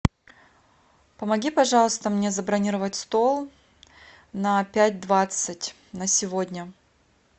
помоги пожалуйста мне забронировать стол на пять двадцать на сегодня